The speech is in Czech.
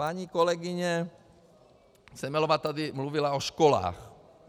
Paní kolegyně Semelová tady mluvila o školách.